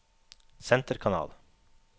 senterkanal